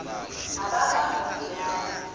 abakwamidiyani